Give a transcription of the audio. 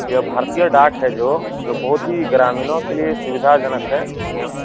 यह भारतीय डाक है जो जो बहुत ही ग्रामीणों के लिए सुविधा जनक है ए.टी.एम ।